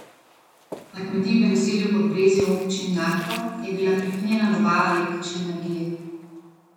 Na kmetiji v naselju Podbrezje v občini Naklo je bila prekinjena dobava električne energije.